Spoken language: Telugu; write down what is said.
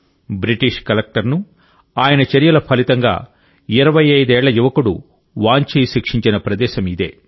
బ్రిటిష్ కలెక్టర్ను ఆయన చర్యల ఫలితంగా 25 ఏళ్ల యువకుడు వాంచి శిక్షించిన ప్రదేశం ఇదే